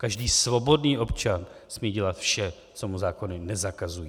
Každý svobodný občan smí dělat vše, co mu zákony nezakazují.